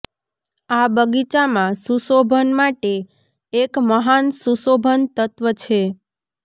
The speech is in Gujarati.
આ બગીચામાં સુશોભન માટે એક મહાન સુશોભન તત્વ છે